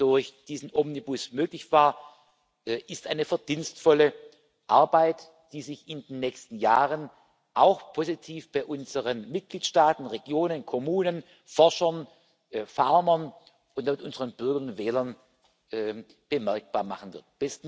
durch diesen Omnibus möglich war, ist eine verdienstvolle Arbeit, die sich in den nächsten Jahren auch positiv bei unseren Mitgliedstaaten, Regionen, Kommunen, Forschern, Farmern und unseren Bürgern und Wählern bemerkbar machen wird.